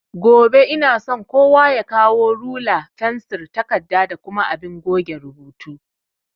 Gobe inason kowa ya kawo rula, fensir, takarda da kuma abin goge rubutu